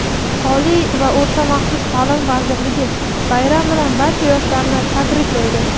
Oliy va o‘rta maxsus taʼlim vazirligi bayram bilan barcha yoshlarni tabriklaydi!.